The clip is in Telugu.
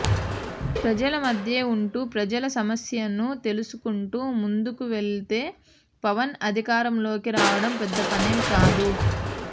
ప్రజల మధ్యే ఉంటూ ప్రజల సమస్యను తెలుసుకుంటూ ముందుకు వెళ్తే పవన్ అధికారంలోకి రావడం పెద్ద పనేం కాదు